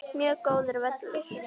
Mjög góður völlur.